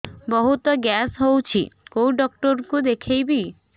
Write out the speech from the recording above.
ବହୁତ ଗ୍ୟାସ ହଉଛି କୋଉ ଡକ୍ଟର କୁ ଦେଖେଇବି